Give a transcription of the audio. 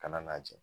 Kana n'a jɛ